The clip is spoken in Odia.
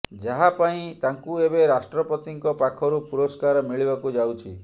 ଯାହା ପାଇଁ ତାଙ୍କୁ ଏବେ ରାଷ୍ଟ୍ରପତିଙ୍କ ପାଖରୁ ପୁରସ୍କାର ମିଳିବାକୁ ଯାଉଛି